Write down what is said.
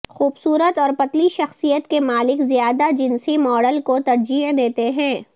خوبصورت اور پتلی شخصیت کے مالک زیادہ جنسی ماڈل کو ترجیح دیتے ہیں